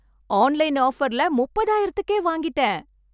Online ஆஃபர்ல முப்பதாயிரத்துக்கே வாங்கிட்டேன்!